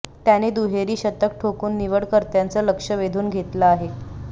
त्याने दुहेरी शतक ठोकून निवडकर्त्यांचं लक्ष वेधून घेतलं आहे